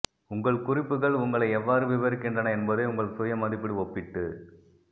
உங்கள் குறிப்புகள் உங்களை எவ்வாறு விவரிக்கின்றன என்பதை உங்கள் சுய மதிப்பீடு ஒப்பிட்டு